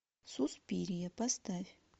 суспирия поставь